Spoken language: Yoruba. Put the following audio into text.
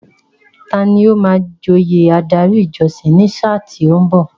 Tani ó máa joyè adarí ìjọsìn ní sáà tí ó ń bọ̀?